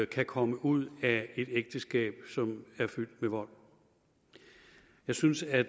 kan komme ud af et ægteskab som er fyldt med vold jeg synes at